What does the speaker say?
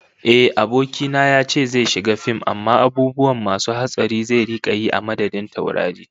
Ehh, abokina yace zai shiga fim amma abubuwa masu hatsari zai rika yi a madadin taurari